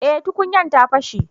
eh tukunyan ta fashe